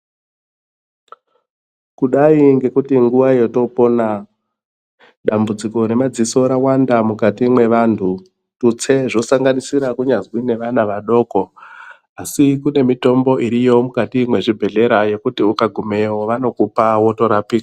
Kudai ngekuti nguwa yotopona dambudziko remadziso rawanda mukati mwevantu tutse zvosanganisira kunyazwi neana vadoko